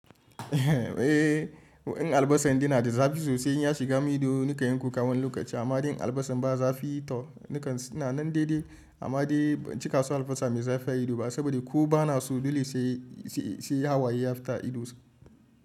Eh, waɗansu albasa din na da zafi sosai in ya shiga ma ido nakan yanka kuka wani lokaci amma dai albasa ban zafi ta nakan na nan daidai amma dai ban cika so albasa mai zafi a ido ba saboda ko bana so dole sai ha waye ya fita idonsa.